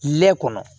Lɛ kɔnɔ